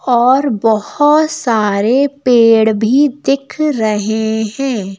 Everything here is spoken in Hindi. और बहोत सारे पेड़ भी दिख रहे हैं।